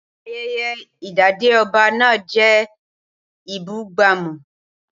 Ayẹyẹ idade ọba náà jẹ́ ìbúgbàmù.